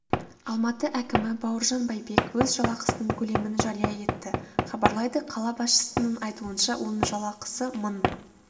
алматы әкімі бауыржан бәйбек өз жалақысының көлемін жария етті хабарлайды қала басшысының айтуынша оның жалақысы мың